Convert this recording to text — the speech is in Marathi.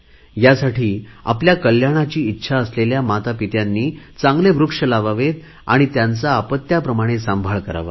ह्यासाठी आपल्या कल्याणाची इच्छा असलेल्या मातापित्यांनी चांगले वृक्ष लावावे आणि त्यांचा अपत्याप्रमाणे सांभाळ करावा